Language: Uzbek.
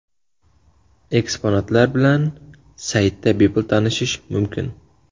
Eksponatlar bilan saytda bepul tanishish mumkin: .